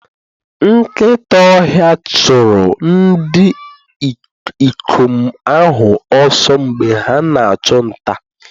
Nkịta ọhịa chụrụ ndị ikom ahụ ọsọ mgbe ha na-achụ nta.